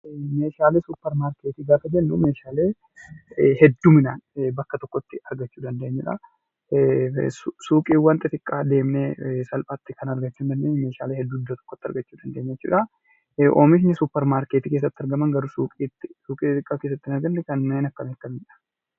Meeshaalee suupermaarkeetii gaafa jennu, Meeshaalee hedduminaan bakka tokkotti argachuu dandeenyudha. Suuqiiwwan xixxiqqaa deemnee salphaatti argachuu kan hin dandeenye Meeshaalee hedduu iddoo tokkotti argachuu dandeenyu jechuudha. Oomishni suupermaarkeetii keessatti argaman garuu suuqii keessatti hin argamne kanneen akkamii akkamiidha?